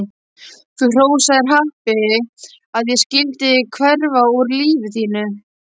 Þú hrósaðir happi að ég skyldi hverfa úr lífi þínu.